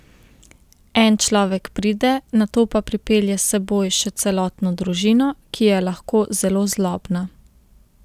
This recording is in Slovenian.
En človek pride, nato pa pripelje s seboj še celotno družino, ki je lahko zelo zlobna.